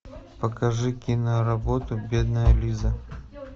покажи киноработу бедная лиза